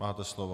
Máte slovo.